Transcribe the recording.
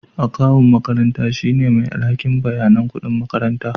Akawun makaranta shine mai alhakin bayanan kuɗin makaranta